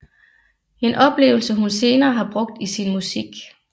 En oplevelse hun senere har brugt i sin musik